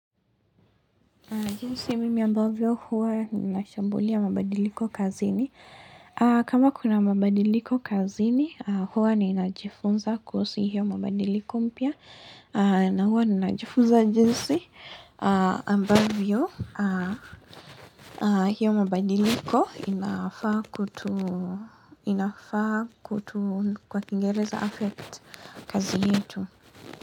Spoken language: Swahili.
Jinsi mimi ambavyo huwa ninashambulia mabadiliko kazini. Kama kuna mabadiliko kazini, huwa ninajifunza kuhusu hiyo mabadiliko mpya. Na huwa ninajifunza jinsi ambavyo hiyo mabadiliko inafaa kutu kwa kiingereza affect kazi yetu.